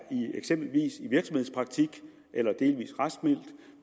i virksomhedspraktik eller delvis raskmeldt